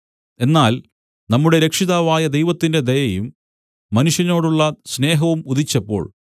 എന്നാൽ നമ്മുടെ രക്ഷിതാവായ ദൈവത്തിന്റെ ദയയും മനുഷ്യനോടുള്ള സ്നേഹവും ഉദിച്ചപ്പോൾ